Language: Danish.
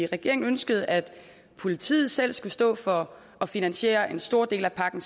regeringen ønskede at politiet selv skulle stå for at finansiere en stor del af pakken